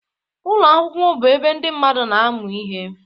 Ụlọ akwụkwọ bụ ebe ndị mmadụ na-amụ ihe